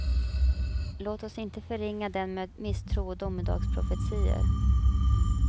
Låt oss inte förringa den med misstro och domedagsprofetior.